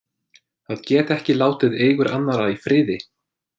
Að geta ekki látið eigur annarra í friði!